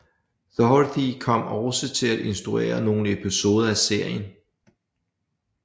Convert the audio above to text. Doherty kom også til at instruere nogle episoder af serien